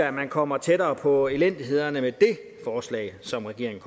at man kommer tættere på elendigheden med det forslag som regeringen